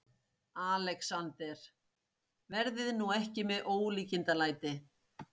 ALEXANDER: Verið nú ekki með ólíkindalæti.